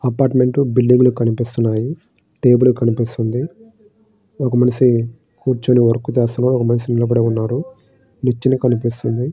Apartment బిల్డింగులు కనిపిస్తూ ఉన్నాయి టేబుల్ కనిపిస్తుంది ఒక మనిషి కూర్చుని వర్క్ చేస్తూ ఉన్నాడు ఒక మనిషి నిలబడే ఉన్నాడు నిచ్చెను కనిపిస్తుంది.